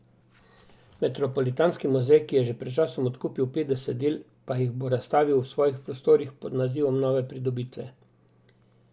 Metropolitanski muzej, ki je že pred časom odkupil petdeset del, pa jih bo razstavil v svojih prostorih pod naslovom Nove pridobitve.